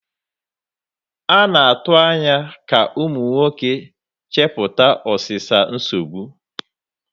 A na-atụ anya ka ụmụ nwoke chepụta ọsịsa nsogbu.